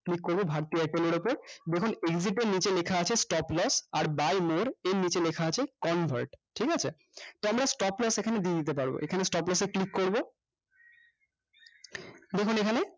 click করবো bharti airtel এর উপর দেখুন exit এর নিচে লেখা আছে stop loss আর buy more এর নিচে লেখা আছে convert ঠিকাছে তো আমরা stop loss এখানে দিয়ে দিতে পারবো এখানে stop loss এ click করবো দেখুন এখানে